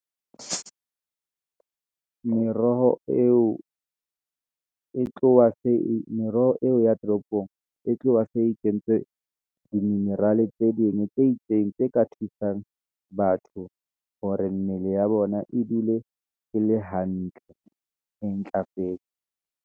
Meroho eo e tloha se, meroho eo ya toropong, e tloha se e kentswe di-mineral tse ding, tse itseng tse ka thusang batho , hore mmele ya bona e dule e le hantle , e ntlafetse.